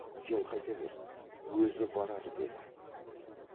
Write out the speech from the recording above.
сен қайта бер өзі барар деді